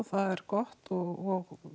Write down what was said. það er gott og